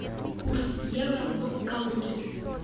курс евро в калуге